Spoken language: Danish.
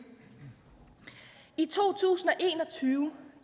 i to tusind og tyve